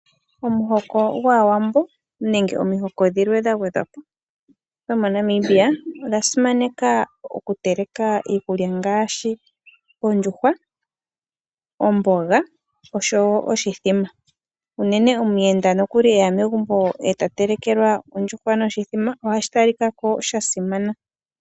Omuhoko gwAawambo nenge omihoko dhilwe dha gwedhwapo dhomo Namibia odha simaneka okuteleka iikulya ngaashi ondjuhwa, omboga oshowo oshimbombo unene omuyenda nokuli eya megumbo e ta telekelwa ondjuhwa noshimbombo oha shi talikako sha simana.